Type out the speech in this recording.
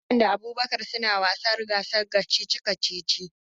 Hassan da Abubakar suna gasar wasan kacici-kacici.